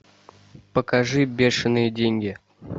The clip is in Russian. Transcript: покажи бешеные деньги